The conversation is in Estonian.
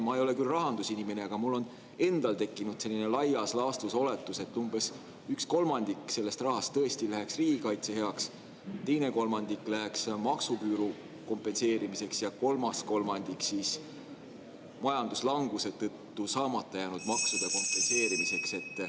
Ma ei ole küll rahandusinimene, aga mul on endal tekkinud selline laias laastus oletus, et umbes üks kolmandik sellest rahast tõesti läheks riigikaitse heaks, teine kolmandik läheks maksuküüru kompenseerimiseks ja kolmas kolmandik majanduslanguse tõttu saamata jäänud maksude kompenseerimiseks.